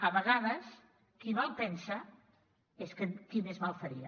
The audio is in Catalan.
a vegades qui mal pensa és qui més mal faria